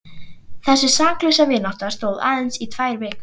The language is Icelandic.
Þessi saklausa vinátta stóð aðeins í tvær vikur.